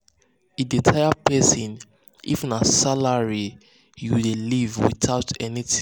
e dey tire person if na salary to salary you dey live without anything for backup.